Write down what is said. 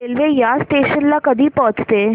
railway या station ला कधी पोहचते